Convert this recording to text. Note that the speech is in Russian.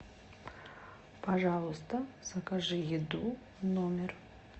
пожалуйста закажи еду в номер